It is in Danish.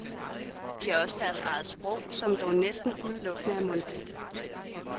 De har også deres eget sprog, som dog næsten udelukkende er mundtligt.